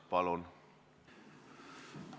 Palun!